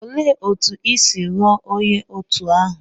Olee otú i si ghọọ onye òtù ahụ?